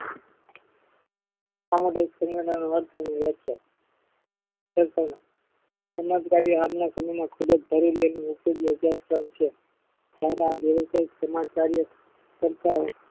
સામુદાયિક સંયોજનો નો અર્થ અને વ્યાખ્યા સમજદારી આજના સમયમાં ખુબ જ જરૂરી અને છે. જયારે આ વ્યવસાયી સમજદારીઓ કરતા